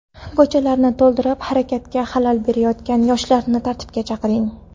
Ko‘chalarni to‘ldirib, harakatga xalal berayotgan yoshlarni tartibga chaqiring.